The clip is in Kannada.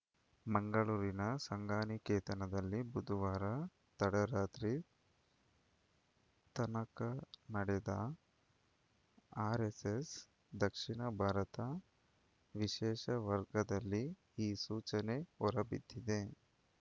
ಮಂಗಳೂರಿನ ಸಂಘನಿಕೇತನದಲ್ಲಿ ಬುಧವಾರ ತಡರಾತ್ರಿ ತನಕ ನಡೆದ ಆರ್‌ಎಸ್‌ಎಸ್‌ ದಕ್ಷಿಣ ಭಾರತ ವಿಶೇಷ ವರ್ಗದಲ್ಲಿ ಈ ಸೂಚನೆ ಹೊರಬಿದ್ದಿದೆ